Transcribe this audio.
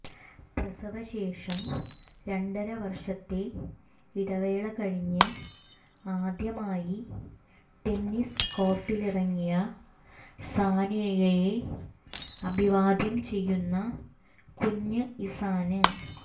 പ്രസവശേഷം രണ്ടരവര്ഷത്തെ ഇടവേള കഴിഞ്ഞ് ആദ്യമായി ടെന്നീസ് കോര്ട്ടിലിറങ്ങിയ സാനിയയെ അഭിവാദ്യം ചെയ്യുന്ന കുഞ്ഞ് ഇസാന്